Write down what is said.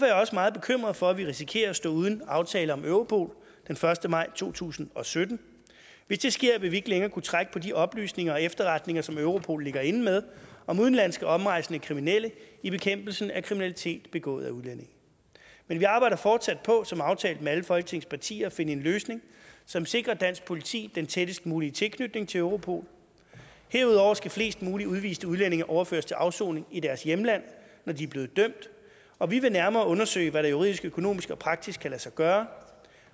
jeg også meget bekymret for at vi risikerer at stå uden en aftale om europol den første maj to tusind og sytten hvis det sker vil vi ikke længere kunne trække på de oplysninger og efterretninger som europol ligger inde med om udenlandske omrejsende kriminelle i bekæmpelsen af kriminalitet begået af udlændinge men vi arbejder fortsat på som aftalt med alle folketingets partier at finde en løsning som sikrer dansk politi den tættest mulige tilknytning til europol herudover skal flest mulige udviste udlændinge overføres til afsoning i deres hjemland når de er blevet dømt og vi vil nærmere undersøge hvad der juridisk økonomisk og praktisk kan lade sig gøre